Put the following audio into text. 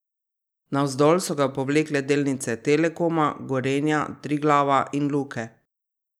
Navzdol so ga povlekle delnice Telekoma, Gorenja, Triglava in Luke.